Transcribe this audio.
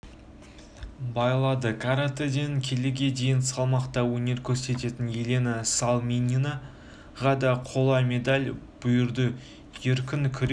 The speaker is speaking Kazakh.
байлады каратэден келіге дейін салмақта өнер көрсететін елена салминаға да қола медаль бұйырды еркін күрес